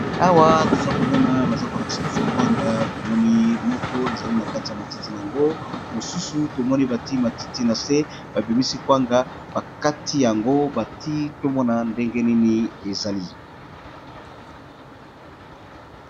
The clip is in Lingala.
Awa toza ko mona baza ko lakisa biso kwanga tomoni moko ezali na kati ya matiti na yango mosusu tomoni bati matiti na se ba bimisi kwanga ba kati yango bati tomona ndenge nini ezali.